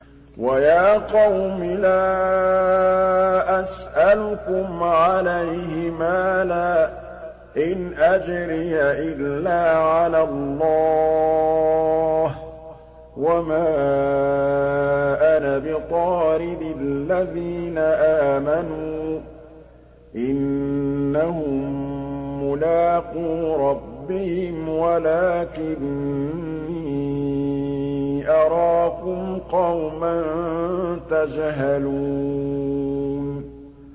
وَيَا قَوْمِ لَا أَسْأَلُكُمْ عَلَيْهِ مَالًا ۖ إِنْ أَجْرِيَ إِلَّا عَلَى اللَّهِ ۚ وَمَا أَنَا بِطَارِدِ الَّذِينَ آمَنُوا ۚ إِنَّهُم مُّلَاقُو رَبِّهِمْ وَلَٰكِنِّي أَرَاكُمْ قَوْمًا تَجْهَلُونَ